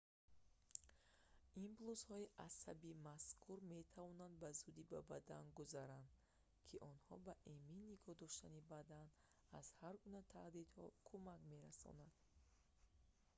импулсҳои асаби мазкур метавонанд ба зудӣ ба бадан гузаранд ки онҳо ба эмин нигоҳ доштани бадан аз ҳар гуна таҳдидҳо кӯмак мерасонанд